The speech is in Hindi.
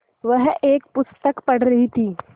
वह एक पुस्तक पढ़ रहीं थी